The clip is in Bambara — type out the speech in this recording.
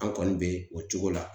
An kɔni bɛ o cogo la .